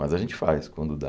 Mas a gente faz quando dá.